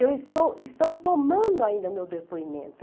Eu estou, estão tomando ainda meu depoimento.